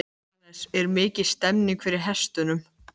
Jóhannes: Er mikil stemmning fyrir hestunum?